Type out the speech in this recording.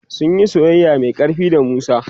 sunyi soyayya Mai ƙarfi da musa